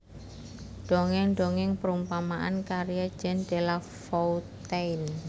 Dongeng Dongeng Perumpamaan karya Jean De La Foutaine